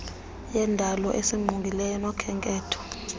yendalo esingqongileyo nokhenketho